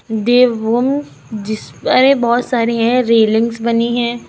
देवभूमि जिस अरे बहुत सारी है रेलिंग्स बनी हैं।